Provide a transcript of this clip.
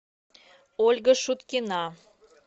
ольга шуткина